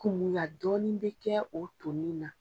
Kumunya dɔɔnin bɛ kɛ o to nin na.